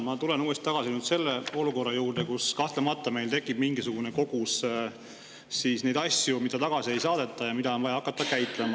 Ma tulen uuesti tagasi selle olukorra juurde, et kahtlemata meil tekib mingisugune kogus asju, mida tagasi ei saadeta ja mida on vaja hakata käitlema.